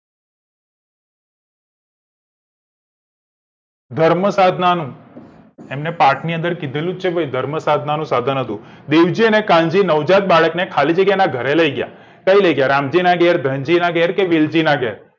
ધર્મ સાધનાનું એમને પાઠમાં કીધેલું છેકે ધર્મ સાધનાનું સાધન હતું બીરજી અને કાનજી નવજાત બાળક ને ખાલી જગ્યાના ગરે લઇ ગયા ક્યાં લઇ ગયા રામજી ના ઘેર કે ધનજી નાં ઘેર કે બીરજી ના ઘેર